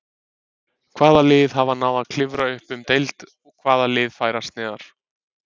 Hvaða lið hafa náð að klifra upp um deild og hvaða lið færast neðar?